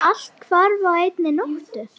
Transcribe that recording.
Allt hvarf á einni nóttu.